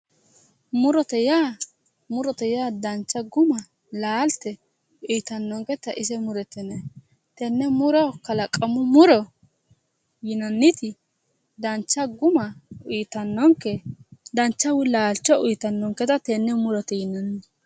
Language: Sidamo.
Murote yaa murote yaa danicha guma laalite uyitannoniketa ise murote yinay tenne muro kalaqamu muro yinanniti danicha guma uyitannoke danicha woyi laalicho uyitanoniketa tenne murote yinanni